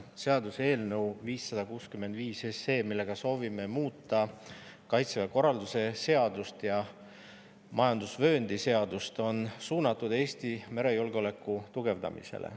Seaduseelnõu 565, millega soovime muuta Kaitseväe korralduse seadust ja majandusvööndi seadust, on suunatud Eesti merejulgeoleku tugevdamisele.